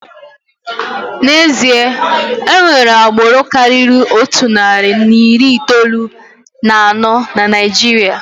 N'ezie, enwere agbụrụ karịrị otu narị na iri itoolu na anọ na Naijiria.